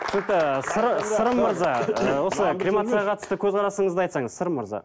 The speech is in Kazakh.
түсінікті сырым мырза ыыы осы кремацияға қатысты көзқарасыңызды айтсаңыз сырым мырза